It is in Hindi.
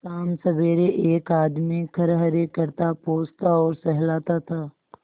शामसबेरे एक आदमी खरहरे करता पोंछता और सहलाता था